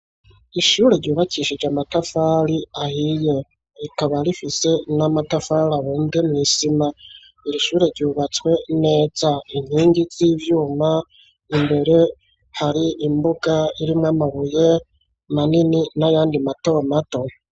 Ishure ryubakishije amatafari ahiye, rikaba rifise n'amatafari abumbwe mw'isima. Iri shure ryubatswe neza inkingi z'ivyuma imbere hari imbuga irimwo amabuye manini n'ayandi matomato.